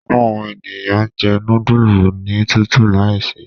Diẹ ninu awọn eniyan njẹ nudulu ni tutu laise